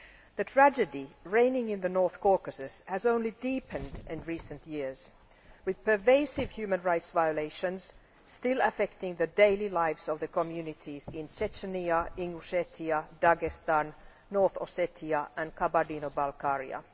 The tragedy reigning in the North Caucasus has only deepened in recent years with pervasive human rights violations still affecting the daily lives of the communities in Chechnya, in Ossetia, Dagestan, North Ossetia and Kabardino Balkaria